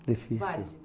É difícil, né? Varios